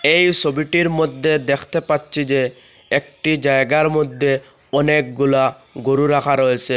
এই সবিটির মধ্যে দেখতে পাচ্চি যে একটি জায়গার মধ্যে অনেকগুলা গরু রাখা রয়েসে।